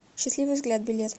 счастливый взгляд билет